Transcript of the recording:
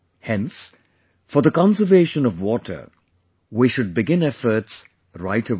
Hence, for the conservation of water, we should begin efforts right away